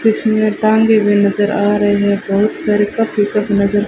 इसमें टांगे हुए नजर आ रहे हैं बहुत सारे कप ही कप नजर--